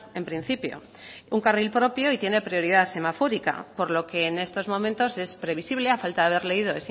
en principio un carril propio y tiene prioridad semafórica por lo que en estos momentos es previsible a falta de haber leído